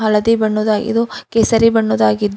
ಹಳದಿ ಬಣ್ಣದ ಐದು ಕೇಸರಿ ಬಣ್ಣದಗಿದ್ದು--